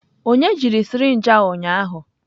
Onye jiri sirinji a ụnyahụ?